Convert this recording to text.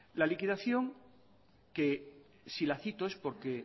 la liquidación que si la cito es porque